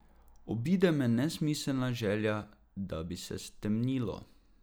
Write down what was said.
Obide me nesmiselna želja, da bi se stemnilo.